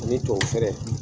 Ani tubabu fɛɛrɛ.